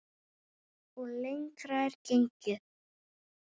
Og lengra er gengið.